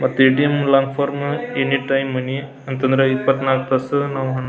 ಮತ್ತ ATM long form any time money ಅಂತಂದ್ರ ಇಪ್ಪತ್ನಾಲ್ಕು ತಾಸು --